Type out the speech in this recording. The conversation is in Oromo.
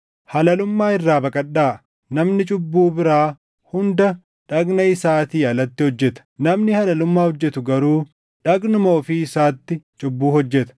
Halalummaa irraa baqadhaa. Namni cubbuu biraa hunda dhagna isaatii alatti hojjeta; namni halalummaa hojjetu garuu dhagnuma ofii isaatti cubbuu hojjeta.